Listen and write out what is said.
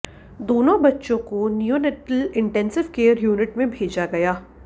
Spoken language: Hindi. दोनों बच्चों को नीओनैटाल इन्टेंसिव केयर यूनिट में भेजा गया